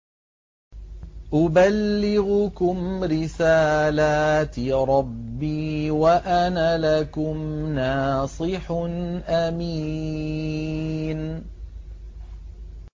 أُبَلِّغُكُمْ رِسَالَاتِ رَبِّي وَأَنَا لَكُمْ نَاصِحٌ أَمِينٌ